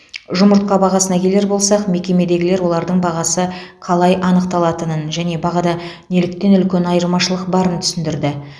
жұмыртқа бағасына келер болсақ мекемедегілер олардың бағасы қалай анықталатынын және бағада неліктен үлкен айырмашылық барын түсіндірді